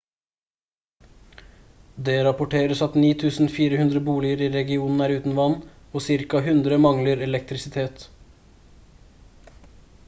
det rapporteres at 9400 boliger i regionen er uten vann og ca 100 mangler elektrisitet